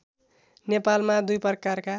नेपालमा दुई प्रकारका